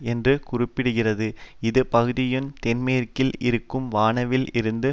என்று கூற படுகிறது இது பகுதியின் தென்மேற்கில் இருக்கும் வானாவில் இருந்து